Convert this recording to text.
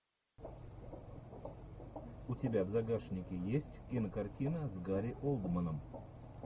у тебя в загашнике есть кинокартина с гари олдманом